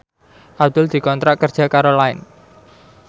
Abdul dikontrak kerja karo Line